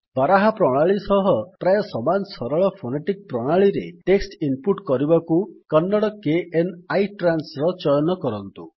ବାରାହା ପ୍ରଣାଳୀ ସହ ପ୍ରାୟ ସମାନ ସରଳ ଫୋନେଟିକ୍ ପ୍ରଣାଳୀରେ ଟେକ୍ସଟ୍ ଇନ୍ ପୁଟ୍ କରିବାକୁ କନ୍ନଡ଼ kn ଆଇଟ୍ରାନ୍ସ ର ଚୟନ କରନ୍ତୁ